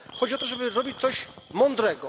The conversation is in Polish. Chodzi o to, żeby robić coś mądrego.